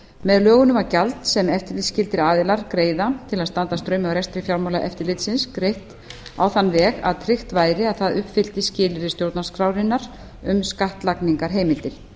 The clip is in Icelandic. með lögunum var gjald sem eftirlitsskyldir aðilar greiða til að standa straum af rekstri fjármálaeftirlitsins greitt á þann veg að tryggt væri að það uppfyllti skilyrði stjórnarskrárinnar um skattlagningarheimildir